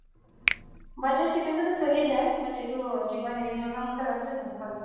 butter chicken তো চলি যাই but এইটো হেৰি কি কই মুৰ্গ মাচালামটো নচলে